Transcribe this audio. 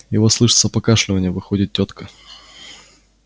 и вот слышится покашливанье выходит тётка